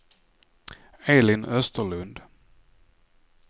Elin Österlund